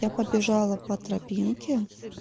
я побежала по тропинке